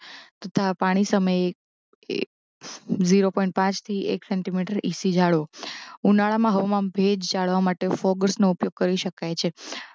તથા પાણી સમયે એક એક જીરો પોઇંટ થી એક સેંટીમીટર ઇસી જાળવો ઉનાળામાં હવામાં ભેજ જાળવવા માટે ફોગર્સ નો ઉપયોગ કરી શકાય છે